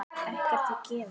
Ekkert er gefið.